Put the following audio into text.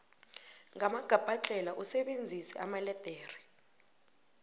ngamagabhadlhela usebenzise amaledere